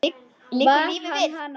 Liggur lífið við?